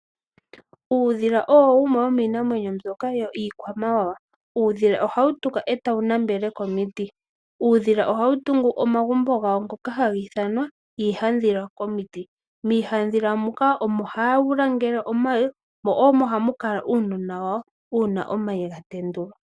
Uudhila owo wumwe womi iinamwenyo mbyoka yiikwamawawa. Uudhila ohawu tuka etawu nambele komiiti. Ohawu tungu omagumbo gawo ngoka haga ithanwa iihadhila komiiti. Miihadhila muka omo hawu langeele omayi mo omo hamu kala uunona wayo una omayi ga tendulwa.